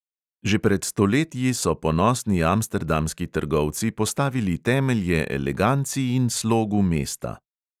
Že pred stoletji so ponosni amsterdamski trgovci postavili temelje eleganci in slogu mesta.